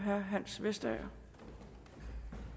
herre hans vestager det